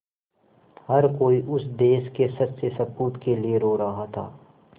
हर कोई उस देश के सच्चे सपूत के लिए रो रहा था